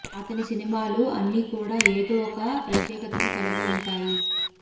అతని సినిమాలు అన్ని కూడా ఏదో ఒక ప్రత్యేకతను కలిగి ఉంటాయి